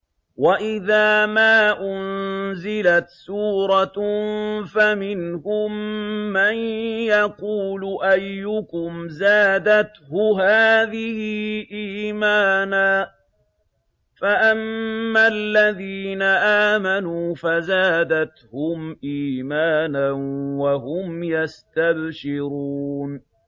وَإِذَا مَا أُنزِلَتْ سُورَةٌ فَمِنْهُم مَّن يَقُولُ أَيُّكُمْ زَادَتْهُ هَٰذِهِ إِيمَانًا ۚ فَأَمَّا الَّذِينَ آمَنُوا فَزَادَتْهُمْ إِيمَانًا وَهُمْ يَسْتَبْشِرُونَ